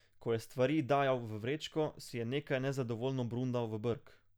Ko je stvari dajal v vrečko, si je nekaj nezadovoljno brundal v brk.